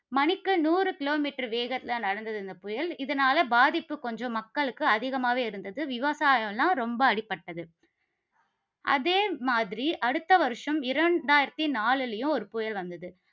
மணிக்கு நூறு kilometer வேகத்தில நடந்தது இந்த புயல். இதனால பாதிப்பு கொஞ்சம் மக்களுக்கு அதிகமாகவே இருந்தது, விவசாயம்லாம் ரொம்ப அடிபட்டது. அதே மாதிரி, அடுத்த வருஷம் இரண்டாயிரத்து நாலுலையும் ஒரு புயல் வந்தது